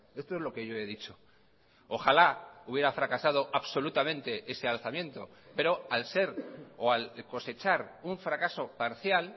esto es lo que yo he dicho ojalá hubiera fracasado absolutamente ese alzamiento pero al ser o al cosechar un fracaso parcial